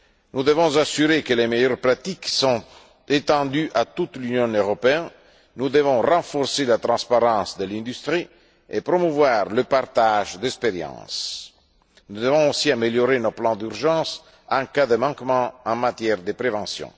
Nous devons veiller à ce que les meilleures pratiques soient étendues à toute l'Union européenne, nous devons renforcer la transparence de l'industrie et promouvoir le partage d'expériences. Nous devons aussi améliorer nos plans d'urgence en cas de manquement en matière de prévention.